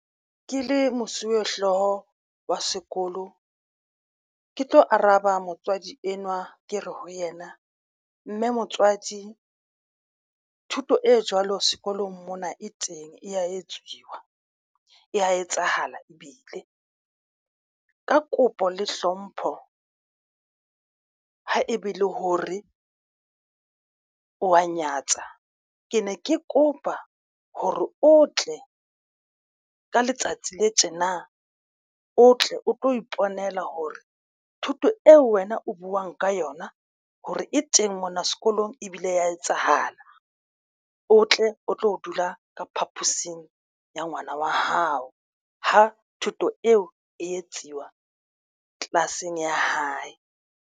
Ke le mosuwehlooho wa sekolo ke tlo araba motswadi enwa ke re ho yena mme motswadi thuto e jwalo sekolong mona e teng e ya etsiwa e a etsahala ebile ka kopo le hlompho ho ebe le hore wa nyatsa. Ke ne ke kopa hore o tle ka letsatsi le tjena o tle o tlo iponela hore thuto eo wena o buwang ka yona, hore e teng mona sekolong ebile ya etsahala o tle o tlo dula ka phaposing ya ngwana wa hao ho thuto eo e etsiwa class-eng ya hae.